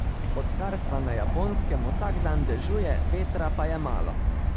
Odkar sva na Japonskem, vsak dan dežuje, vetra pa je malo.